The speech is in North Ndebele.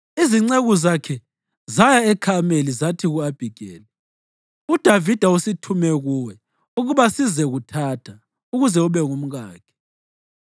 Izinceku zakhe zaya eKhameli zathi ku-Abhigeli, “UDavida usithume kuwe ukuba sizekuthatha ukuze ube ngumkakhe.”